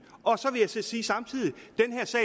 så vil jeg sige samtidig